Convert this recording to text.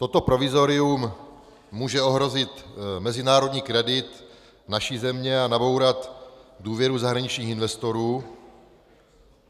Toto provizorium může ohrozit mezinárodní kredit naší země a nabourat důvěru zahraničních investorů.